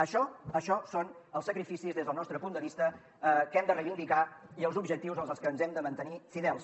això això són els sacrificis des del nostre punt de vista que hem de reivindicar i els objectius en els que ens hem de mantenir fidels